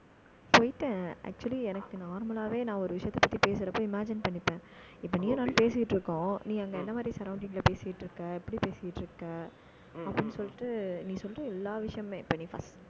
போயிட்டேன். actually எனக்கு normalலாவே, நான் ஒரு விஷயத்தைப் பத்தி பேசுறப்ப imagine பண்ணிப்பேன். இப்ப நீயும், நானும் பேசிட்டு இருக்கோம். நீ அங்க என்ன மாரி, surrounding ல பேசிட்டு இருக்க எப்படி பேசிட்டு இருக்க அப்படின்னு சொல்லிட்டு, நீ சொல்ற எல்லா விஷயமுமே இப்ப நீ first